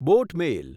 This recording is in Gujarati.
બોટ મેલ